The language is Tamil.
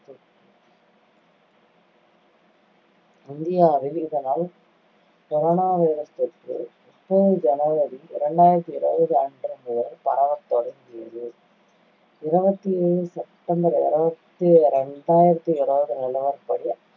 இந்தியாவில் இதனால் corona virus தொற்று ஜனவரி இரண்டாயிரத்தி இருவது அன்று முதல் பரவத்தொடங்கியது. இருவத்தி மூணு செப்டம்பர் இரண்டாயிரத்தி இருவது நிலவரப்படி